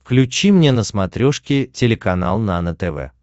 включи мне на смотрешке телеканал нано тв